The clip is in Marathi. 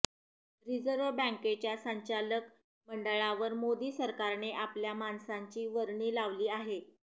रिझर्व्ह बँकेच्या संचालक मंडळावर मोदी सरकारने आपल्या माणसांची वर्णी लावली आहे